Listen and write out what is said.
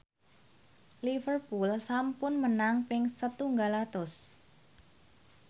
Liverpool sampun menang ping setunggal atus